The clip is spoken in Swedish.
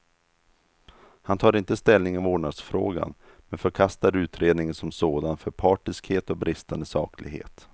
Han tar inte ställning i vårdnadsfrågan, men förkastar utredningen som sådan för partiskhet och bristande saklighet.